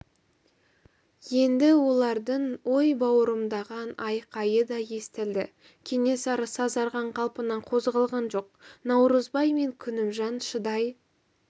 енді олардың ой бауырымдаған айқайы да естілді кенесары сазарған қалпынан қозғалған жоқ наурызбай мен күнімжан шыдай